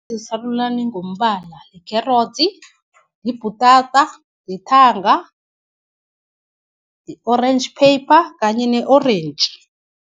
Esarulani ngombala, likherotsi, yibhutata, yithanga, i-orentji-pepper kanye ne-orentji.